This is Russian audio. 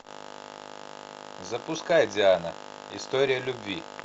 запускай диана история любви